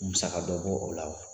Musakɛ dɔ bɔ o la wa